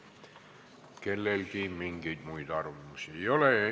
Kellelgi mingeid muid arvamusi ei ole.